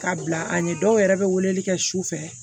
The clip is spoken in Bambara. Ka bila an ye dɔw yɛrɛ bɛ weleli kɛ su fɛ